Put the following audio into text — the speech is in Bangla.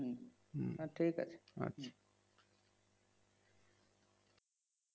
হম হ্যাঁ ঠিক আছে আচ্ছা